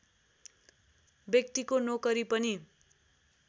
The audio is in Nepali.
व्यक्तिको नोकरी पनि